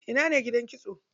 Ina ne gidan kitson?